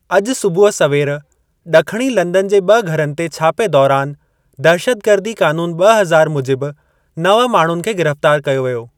अॼु सुबुह सवेर ड॒खणी लंदन जे ब॒ घरनि ते छापे दौरान दहशतगर्दी क़ानून ॿ हज़ार मुजिबि नव माण्हुनि खे गिरफ़्तार कयो वियो।